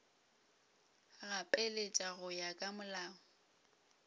gapeletša go ya ka molao